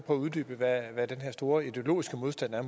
at uddybe hvad den her store ideologiske modstand er